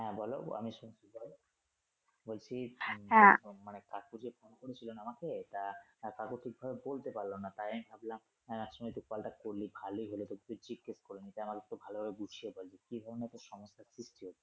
হ্যা বলো আমি শুনতেছি, বলছি কাকু যেরকম মানে কাকু যে ফোন করেছিলো না আমাকে তা আহ কাকু ঠিক ভাবে বলতে পারল না তাই আমি ভাবলাম আহ এই সময় একটু কলটা করলে ভালই হলো তোকেই জিজ্ঞেস করে নিতেই আমার তো ভালোভাবে বুঝয়ে বল যে কি ধরনের তোর সমস্যা